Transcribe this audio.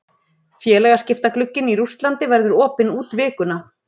Félagaskiptaglugginn í Rússlandi verður opinn út vikuna.